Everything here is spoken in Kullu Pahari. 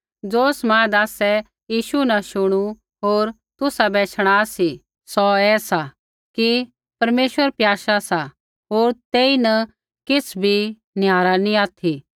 ज़ो समाद आसै यीशु न शुणु होर तुसाबै शणा सी सौ ऐ सा कि परमेश्वर प्याशा सा होर तेईन किछ़ भी निहारा नी ऑथि